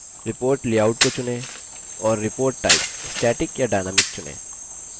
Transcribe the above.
और report type static या dynamic चुनें